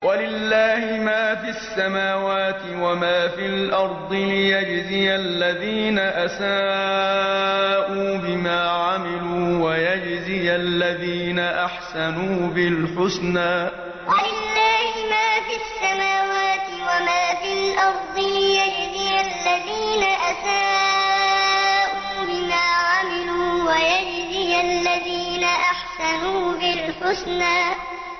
وَلِلَّهِ مَا فِي السَّمَاوَاتِ وَمَا فِي الْأَرْضِ لِيَجْزِيَ الَّذِينَ أَسَاءُوا بِمَا عَمِلُوا وَيَجْزِيَ الَّذِينَ أَحْسَنُوا بِالْحُسْنَى وَلِلَّهِ مَا فِي السَّمَاوَاتِ وَمَا فِي الْأَرْضِ لِيَجْزِيَ الَّذِينَ أَسَاءُوا بِمَا عَمِلُوا وَيَجْزِيَ الَّذِينَ أَحْسَنُوا بِالْحُسْنَى